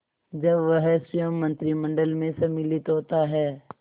जब वह स्वयं मंत्रिमंडल में सम्मिलित होता है